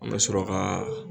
An ka sɔrɔ ka.